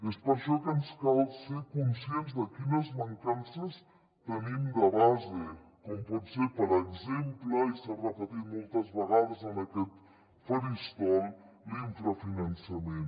és per això que ens cal ser conscients de quines mancances tenim de base com pot ser per exemple i s’ha repetit moltes vegades en aquest faristol l’infrafinançament